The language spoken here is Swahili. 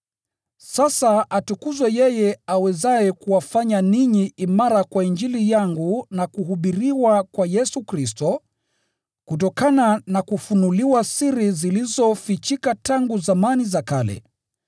Sasa atukuzwe yeye awezaye kuwafanya ninyi imara kwa Injili yangu na kuhubiriwa kwa Yesu Kristo, kutokana na kufunuliwa siri zilizofichika tangu zamani za kale.